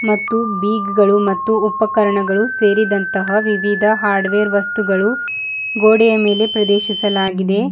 ಮತ್ತು ಬೀಗ್ಗಳು ಮತ್ತು ಉಪಕರಣಗಳು ಸೇರಿದಂತಹ ವಿವಿಧ ಹಾರ್ಡ್ವೇರ್ ವಸ್ತುಗಳು ಗೋಡೆಯ ಮೇಲೆ ಪ್ರದೇಶಸಲಾಗಿದೆ.